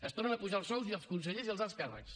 es tornen a apujar els sous als consellers i als alts càrrecs